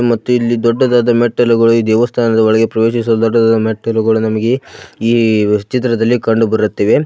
ಮತ್ತು ಇಲ್ಲಿ ದೊಡ್ಡದಾದ ಮೆಟ್ಟಲುಗಳು ಈ ದೇವಸ್ಥಾನದ ಒಳಗೆ ಪ್ರವೇಶಿಸಲು ದೊಡ್ಡದಾದ ಮೆಟ್ಟಲುಗಳು ನಮಗೆ ಈ ಚಿತ್ರದಲ್ಲಿ ಕಂಡುಬರುತ್ತಿದೆ.